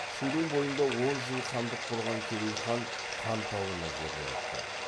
шудың бойында он жыл хандық құрған керей хан хан тауына жерленіпті